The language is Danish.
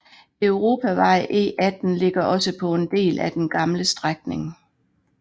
Europavej E18 ligger også på en del af den gamle strækning